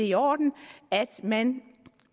i orden at man